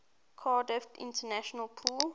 cardiff international pool